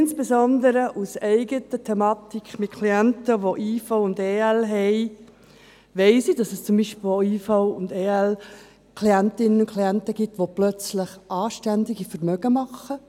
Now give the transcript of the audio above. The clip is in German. Insbesondere aus eigener Erfahrung mit Klienten, welche IV und EL erhalten, weiss ich, dass es auch IV- und EL-Klientinnen und -Klienten gibt, die plötzlich ein anständiges Vermögen machen.